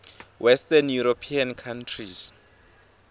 western european countries